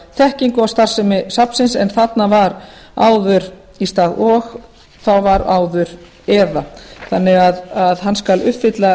þekkingu á starfsemi safnsins en þarna var áður í stað og þá var áður eða þannig að hann skal uppfylla